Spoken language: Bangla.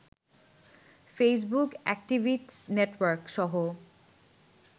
Facebook activist নেটওয়ার্কসহ